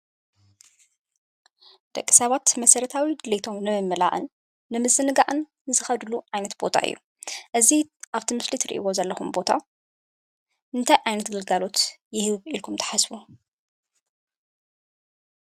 ደቂ ሰባት መሰረታዊ ድሌቶም ንምምላእን ንምዝንጋዕን ዝከድሉ ዓይነት ቦታ እዩ። እዙይ ኣብቲ ምስሊ እትርእይዎ ዘለኩም ቦታ እንታይ ዓይነት ግልጋሎት ይህብ ኢልኩም ትሓስቡ?